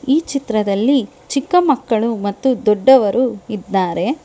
ಈ ಚಿತ್ರದಲ್ಲಿ ಚಿಕ್ಕ ಮಕ್ಕಳು ಮತ್ತು ದೊಡ್ಡವರು ಇದ್ದಾರೆ.